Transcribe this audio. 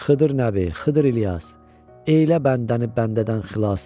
Xıdır Nəbi, Xıdır İlyas, elə bəndəni bəndədən xilas.